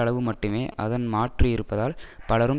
அளவு மட்டுமே அதன் மாற்று இருப்பதால் பலரும்